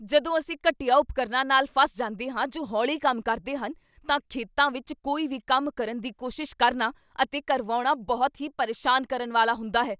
ਜਦੋਂ ਅਸੀਂ ਘਟੀਆ ਉਪਕਰਨ ਾਂ ਨਾਲ ਫਸ ਜਾਂਦੇ ਹਾਂ ਜੋ ਹੌਲੀ ਕੰਮ ਕਰਦੇ ਹਨ ਤਾਂ ਖੇਤਾਂ ਵਿੱਚ ਕੋਈ ਵੀ ਕੰਮ ਕਰਨ ਦੀ ਕੋਸ਼ਿਸ਼ ਕਰਨਾ ਅਤੇ ਕਰਵਾਉਣਾ ਬਹੁਤ ਹੀ ਪਰੇਸ਼ਾਨ ਕਰਨ ਵਾਲਾ ਹੁੰਦਾ ਹੈ।